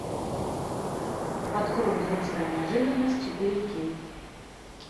открой взрослая неожиданность четыре кей